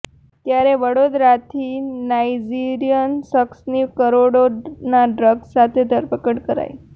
ત્યારે વડોદરાથી નાઇજીરીયન શખ્સની કરોડોના ડ્રગ્સ સાથે ધરપકડ કરાઇ